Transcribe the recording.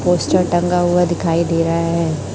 Poster टंगा हुआ दिखाई दे रहा है।